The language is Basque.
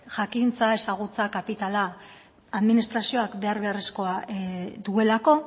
jakintza ezagutza kapitala administrazioak behar beharrezkoa duelako